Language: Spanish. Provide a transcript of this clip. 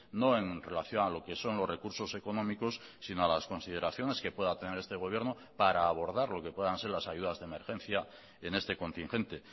no en relación a lo que son los recursos económicos sino a las consideraciones que pueda tener este gobierno para abordar lo que puedan ser las ayudas de emergencia en este contingente